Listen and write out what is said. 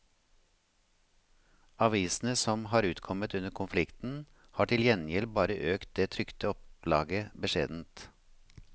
Avisene som har utkommet under konflikten, har til gjengjeld bare økt det trykte opplaget beskjedent.